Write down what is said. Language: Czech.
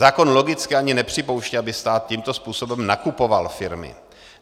Zákon logicky ani nepřipouští, aby stát tímto způsobem nakupoval firmy.